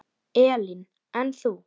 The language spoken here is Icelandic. Elín: En þú?